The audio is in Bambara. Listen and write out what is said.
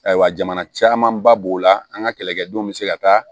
Ayiwa jamana camanba b'o la an ka kɛlɛkɛdenw be se ka taa